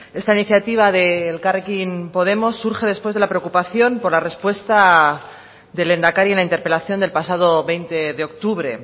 esta iniciativa de elkarrekin podemos surge después de la preocupación por la respuesta del lehendakari en la interpelación del pasado veinte de octubre